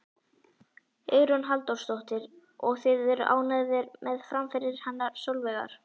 Hugrún Halldórsdóttir: Og þið eruð ánægðir með framfarir hennar Sólveigar?